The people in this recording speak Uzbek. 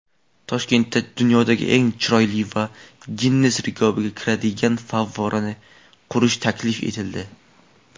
Toshkentda dunyoda eng chiroyli va "Ginnes kitobi"ga kiradigan favvorani qurish taklif etildi.